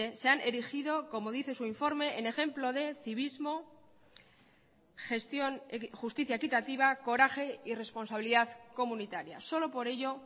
se han erigido como dice su informe en ejemplo de civismo gestión justicia equitativa coraje y responsabilidad comunitarias solo por ello